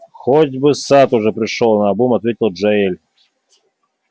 хоть бы сатт уже пришёл наобум ответил джаэль